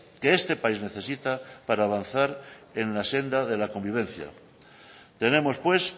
que este país necesita para avanzar en la senda de la convivencia tenemos pues